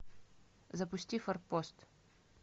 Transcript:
запусти форпост